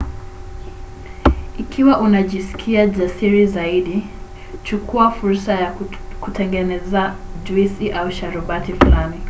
ikiwa unajisikia jasiri zaidi chukua fursa ya kutengeneza juisi au sharubati fulani: